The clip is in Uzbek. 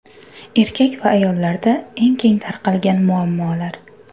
Erkak va ayollarda eng keng tarqalgan muammolar.